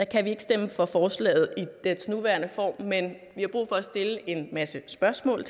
kan vi ikke stemme for forslaget i dets nuværende form men vi har brug for at stille en masse spørgsmål